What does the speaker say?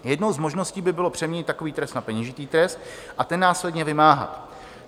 Jednou z možností by bylo přeměnit takový trest na peněžitý trest a ten následně vymáhat.